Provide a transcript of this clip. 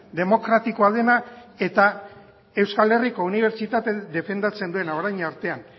demokratikoa dena eta euskal herriko unibertsitatea defendatzen duena orain artean